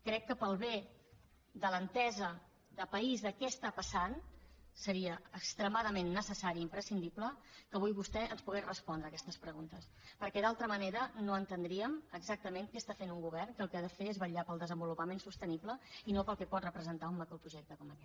crec que pel bé de l’entesa de país de què està passant seria extremadament necessari i imprescindible que avui vostè ens pogués respondre aquestes preguntes perquè d’altra manera no entendríem exactament què està fent un govern que el que ha de fer és vetllar pel desenvolupament sostenible i no pel que pot representar un macroprojecte com aquest